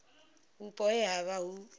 vhupo he ha vha hu